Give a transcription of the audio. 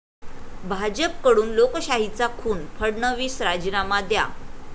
भाजपकडून लोकशाहीचा खून, फडणवीस राजीनामा द्या'